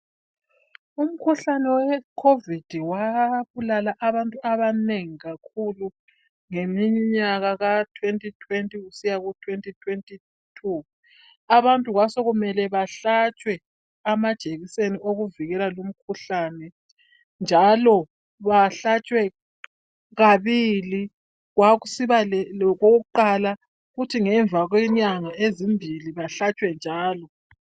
Umkhuhlane weCovid wabulala abantu abanengi kakhulu ngeminyaka ka2020 kusiya ku2022. Abantu kwasokumele bahlatshwe amajekiseni okuvikela lumkhuhlane. Njalo bahlatshwe kabili kwakusiba lokokuqala kuthi ngemva kwenyanga ezimbili bahlatshwe njalo.